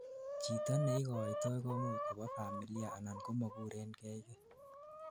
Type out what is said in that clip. chito neigoitoi koimuch kobo familia anan komokurenkegii